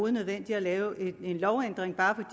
er nødvendigt at lave en lovændring bare